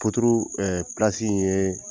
ɛɛ in ye